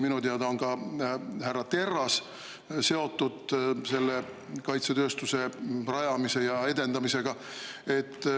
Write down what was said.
Minu teada on ka härra Terras seotud kaitsetööstuse rajamise ja edendamisega.